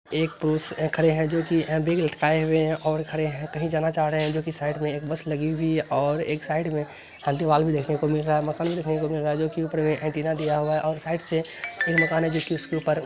एक पुरुष खड़े हैं जो कि बैग लटकाए हुए हैं और खड़े हैं कही जाना चाह रहे हैं जो कि साइड में एक बस लगी हुई और एक साइड में देखने को मिल रहा है दिया हुआ है और साइड स